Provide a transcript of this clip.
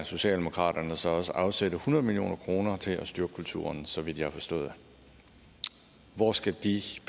socialdemokraterne så også afsætte hundrede million kroner til at styrke kulturen så vidt jeg har forstået hvor skal de